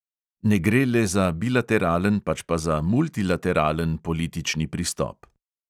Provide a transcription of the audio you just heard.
Ne gre le za bilateralen, pač pa za multilateralen politični pristop.